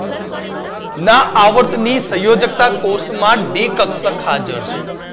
ના આવર્ત ની સયોજક્તા કોષ માં ડી કક્ષક હાજર છે